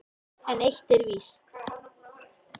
En eitt er víst: